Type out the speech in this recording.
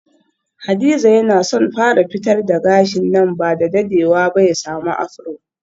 Hadiza yana son fara fitar da gashi nan bada dadewa ba ya samu afro.